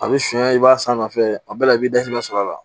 A bɛ sonya i b'a san nɔfɛ a bɛɛ la i b'i da sɛbɛ sɔrɔ la